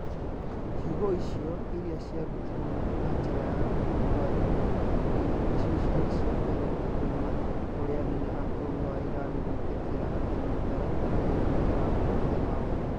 Ciugo icio, iria ciarutirũo na njĩra ya kũarĩrĩrio tifi, nĩcio ciarĩ cia mbere kuuma kũrĩ anene a bũrũri wa Iran gwĩtĩkĩra atĩ mĩtaratara ĩyo nĩ ĩrahutia maũndũ.